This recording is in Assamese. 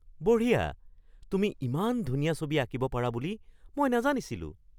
বঢ়িয়া! তুমি ইমান ধুনীয়া ছবি আঁকিব পাৰা বুলি মই নাজানিছিলোঁ!